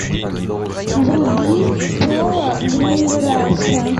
вруби пола гринграсса